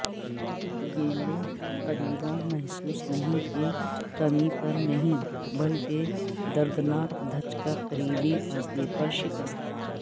گیندوں تقریبا محسوس نہیں کی کمی پر نہیں بلکہ دردناک دھچکا قریبی فاصلے پر شکست